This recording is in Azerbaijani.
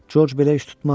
Corc belə iş tutmaz.